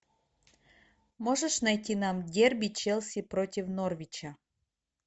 можешь найти нам дерби челси против норвича